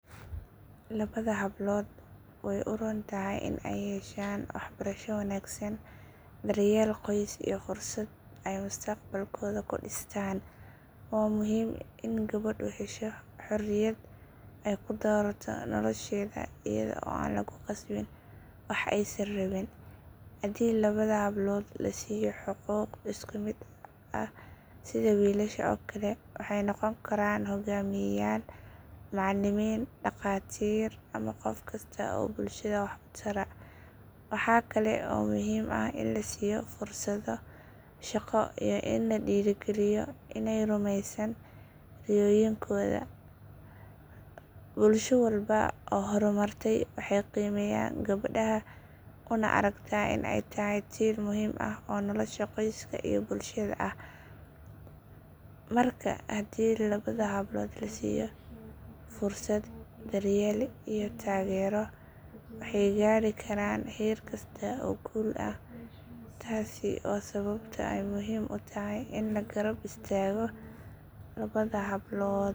Labada hablood way u roon tahay in ay yeeshaan waxbarasho wanaagsan, daryeel qoys iyo fursad ay mustaqbalkooda ku dhistaan. Waa muhiim in gabadhu hesho xorriyad ay ku doorato nolosheeda iyada oo aan lagu khasbin wax aysan rabin. Haddii labada hablood la siiyo xuquuq isku mid ah sida wiilasha oo kale, waxay noqon karaan hogaamiyeyaal, macallimiin, dhaqaatiir ama qof kasta oo bulshada wax u tara. Waxa kale oo muhiim ah in la siiyo fursado shaqo iyo in la dhiirrigeliyo inay rumeeyaan riyooyinkooda. Bulsho walba oo horumartay waxay qiimeysaa gabadha una aragtaa in ay tahay tiir muhiim ah oo nolosha qoyska iyo bulshada ah. Marka haddii labada hablood la siiyo fursad, daryeel iyo taageero, waxay gaadhi karaan heer kasta oo guul ah. Taasi waa sababta ay muhiim u tahay in la garab istaago labada hablood.